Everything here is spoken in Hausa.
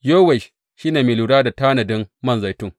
Yowash shi ne mai lura da tanadin man zaitun.